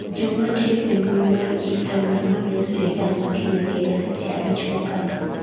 jomatiyo e mbui mar istagram mamiyo Sirikal ma Kenya gero seche abich mokadho